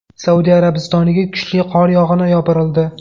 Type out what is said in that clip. Saudiya Arabistoniga kuchli qor yog‘ini yopirildi .